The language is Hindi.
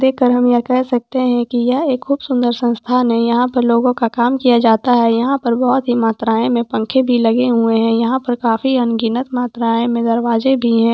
देखकर हम यह कह सकते हैं कि यह एक खूब सुंदर संस्थान है यहां पर लोगों का काम किया जाता है यहां पर बहुत ही मात्राऐं में पंखे भी लगे हुए हैं यहां पर काफी अनगिनत मात्राऐं में दरवाजे भी हैं।